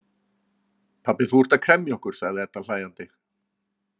Pabbi, þú ert að kremja okkur, sagði Edda hlæjandi.